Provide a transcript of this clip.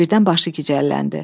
Birdən başı gicəlləndi.